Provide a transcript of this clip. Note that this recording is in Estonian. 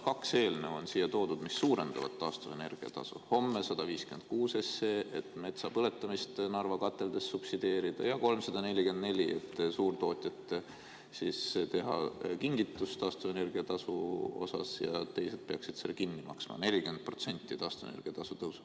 Kaks eelnõu on siia toodud, mis suurendavad taastuvenergia tasu: 156 SE, et metsa põletamist Narva kateldes subsideerida, ja 344, et suurtootjatele teha kingitus taastuvenergia tasuga, mille teised peaksid kinni maksma, 40% taastuvenergia tasu tõusu.